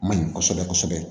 Maɲi kɔsɛbɛ kɔsɛbɛ